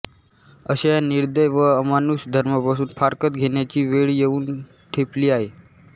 अशा या निर्दय व अमानुष धर्मापासून फारकत घेण्याची वेळ येऊन ठेपली आहे